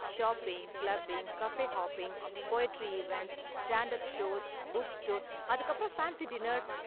Shopping, clubbing, cafe hopping, poetry events, stand up shows, book store, அதுக்கு அப்பறம் fancy dinners.